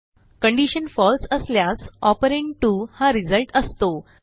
condition false असल्यास operand 2 हा result असतो